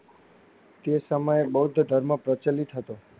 તે સમયએ બોદ્ધ ધર્મ પ્રચલિત હતો.